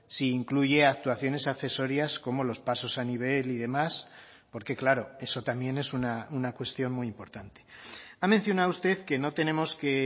si incluye actuaciones accesorias como los pasos a nivel y demás porque claro eso también es una cuestión muy importante ha mencionado usted que no tenemos que